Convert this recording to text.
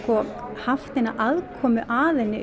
haft neina aðkomu að henni